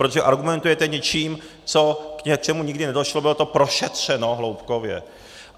Protože argumentujete něčím, k čemu nikdy nedošlo, bylo to prošetřeno hloubkově.